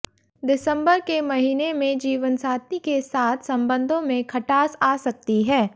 दिसंबर के महीने में जीवनसाथी के साथ संबंधों में खटास आ सकती है